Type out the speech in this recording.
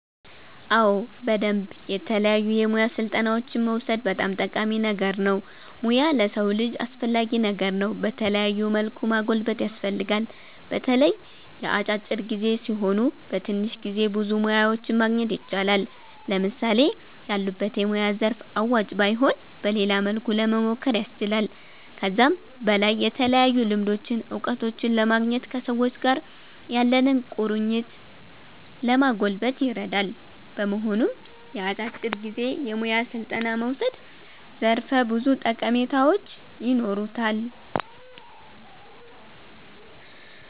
አዎ በደምብ የተለያዩ የሙያ ስልጠናዎችን መዉሰድ በጣም ጠቃሚ ነገር ነዉ ሙያ ለሰዉ ልጅ አስፈላጊ ነገር ነዉ በተለያዩ መልኩ ማጎልበት ያስፈልጋል። በተለይ የአጫጭር ጊዜ ሲሆኑ በትንሽ ጊዜ ብዙ ሙያዎችን ማግኘት ይቻላል። ለምሳሌ ያሉበት የሙያ ዘርፍ አዋጭ ባይሆን በሌላ መልኩ ለሞሞከር ያስችላል። ከዛም በላይ የተለያዩ ልምዶችን እዉቀቶችን ለማግኘት ከሰዎች ጋር ያለንን ቁርኝት ለማጎልበት ይረዳል። በመሆኑም የአጫጭር ጊዜ የሙያ ስልጠና መዉሰድ ዘርፈ ብዙ ጠቀሜታዎች ይኖሩታል